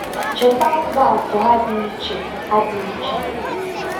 Cheta ụzọ atọ ha dị iche. ha dị iche.